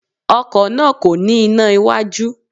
Ọkò náà kò ní iná iwájú